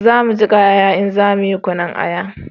Za mu jika aya in za mu yi kunun aya